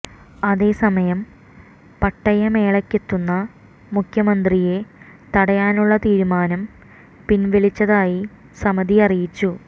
അതേസമയം പട്ടയ മേളക്കെത്തുന്ന മുഖ്യമന്ത്രിയെ തടയാനുള്ള തീരുമാനം പിന്വലിച്ചതായി സമിതി അറിയിച്ചു